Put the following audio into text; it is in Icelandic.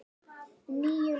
Níu lyklar.